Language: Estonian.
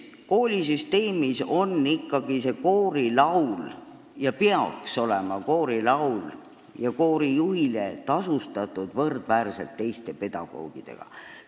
Koolisüsteemis peaks koorilaul au sees olema ja koorijuht peaks olema tasustatud võrdväärselt teiste pedagoogidega.